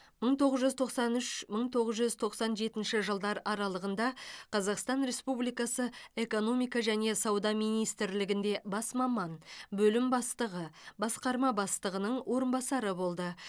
мың тоғыз жүз тоқсан үш мың тоғыз жүз тоқсан жетінші жылдар аралығында қазақстан республикасы экономика және сауда министрлігінде бас маман бөлім бастығы басқарма бастығының орынбасары болды